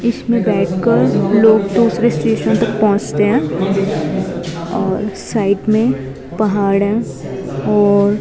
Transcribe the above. इसमें बैठ कर लोग दूसरे स्टेशन तक पहुंचते हैं और साइड में पहाड़ हैं और--